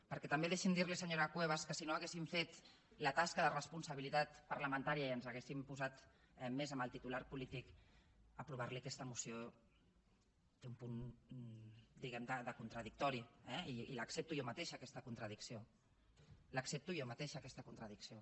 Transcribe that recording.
perquè també deixi’m dir li senyora cuevas que si no haguéssim fet la tasca de responsabilitat parlamentària i ens haguéssim posat més amb el titular polític aprovar li aquesta moció té un punt diguem ne de contradictori eh i l’accepto jo mateixa aquesta contradicció l’accepto jo mateixa aquesta contradicció